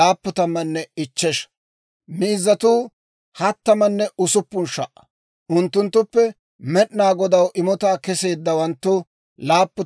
Haretuu 30,500; unttunttuppe Med'inaa Godaw imotaa kesseeddawanttu 61.